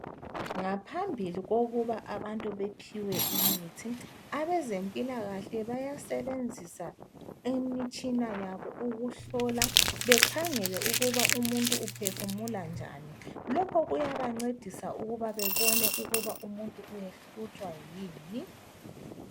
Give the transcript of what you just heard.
Ngaphambili kokuba abantu bephiwe imithi abezempilakahle bayasebenzisa imitshina yabo ukuhlola bekhangele ukuba umuntu uphefumula njani. Lokho kuyabancedisa ukuba bebone ukuthi umuntu uhlutshwa yini.